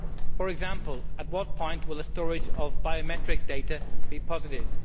For example, at what point will the storage of biometric data be positive?